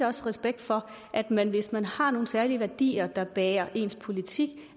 også respekt for at man hvis man har nogle særlige værdier der bærer ens politik